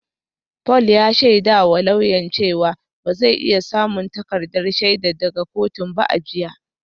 Paul ya shaidawa lauyan cewa ba zai iya samun takardar shaidar daga kotun ba a jiya